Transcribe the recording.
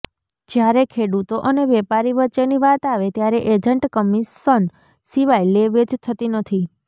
જ્યારે ખેડૂતો અને વેપારી વચ્ચેની વાત આવે ત્યારે એજન્ટ કમિશન સિવાય લે વેચ થતી નથી